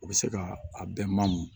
U bɛ se ka a bɛɛ mamu